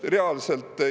Reaalselt!